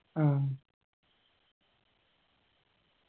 ആ